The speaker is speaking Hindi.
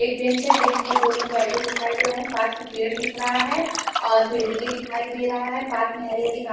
एक बेंच है बेंच पर दो लोग बैठे हुए दिखाई दे रहे हैं पार्क में पेड़ दिख रहा है और बिल्डिंगे दिखाई दे रहा है पार्क में हरी हरी घा --